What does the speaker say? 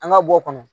An ka bɔ kɔnɔ